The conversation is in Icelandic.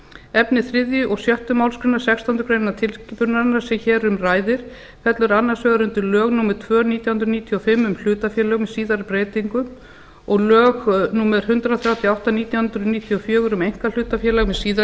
efni þriðju og sjöttu málsgrein sextándu grein tilskipunarinnar sem hér um ræðir fellur annars vegar undir lög númer tvö nítján hundruð níutíu og fimm um hlutafélög með síðari breytingum og lög númer hundrað þrjátíu og átta nítján hundruð níutíu og fjögur um einkahlutafélög með síðari